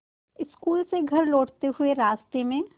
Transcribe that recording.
school से घर लौटते हुए रास्ते में